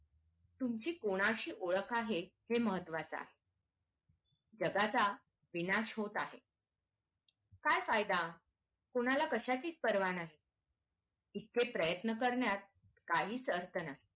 तुमची कोणाशी ओळख आहे हे महत्वाचं आहे जगाचा विनाश होत आहे काय फायदा कोणाला कशाचीच पर्वा नाही इतके प्रयत्न करण्यात काहीच अर्थ नाही